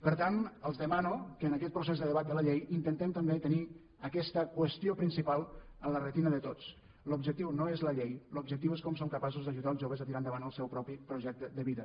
per tant els demano que en aquest procés de debat de la llei intentem també tenir aquesta qüestió principal en la retina de tots l’objectiu no és la llei l’objectiu és com som capaços d’ajudar els joves a tirar endavant el seu propi projecte de vida